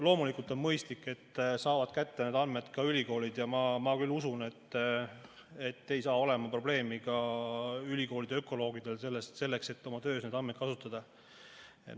Loomulikult on mõistlik, et neid andmeid saavad kätte ka ülikoolid, ja ma küll usun, et ei saa olema probleemi ka ülikoolide ökoloogidel, et oma töös neid andmeid kasutada.